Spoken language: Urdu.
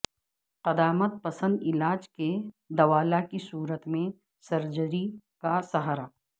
قدامت پسند علاج کے دوالا کی صورت میں سرجری کا سہارا